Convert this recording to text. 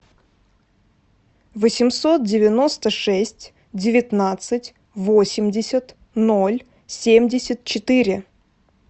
восемьсот девяносто шесть девятнадцать восемьдесят ноль семьдесят четыре